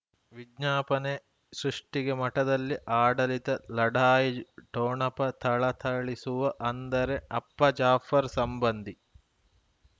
ವಿಜ್ಞಾಪನೆ ಸೃಷ್ಟಿಗೆ ಮಠದಲ್ಲಿ ಆಡಳಿತ ಲಢಾಯಿ ಠೊಣಪ ಥಳಥಳಿಸುವ ಅಂದರೆ ಅಪ್ಪ ಜಾಫರ್ ಸಂಬಂಧಿ